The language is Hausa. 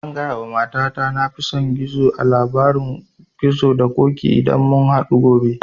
Zan gaya wa mata ta na fi son gizo a labarin gizo da ƙoƙi idan mun hadu gobe